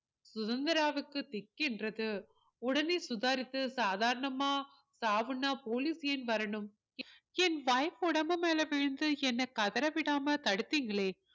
சுதந்திராவுக்கு திக்கின்றது உடனே சுதாரித்து சாதாரணமா சாவுன்னா police ஏன் வரணும் என் wife உடம்பு மேல விழுந்து என்னை கதற விடாம தடுத்தீங்களே